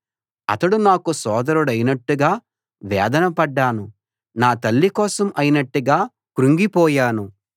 అతడు నాకు సోదరుడైనట్టుగా వేదన పడ్డాను నా తల్లి కోసం అయినట్టుగా కుంగిపోయాను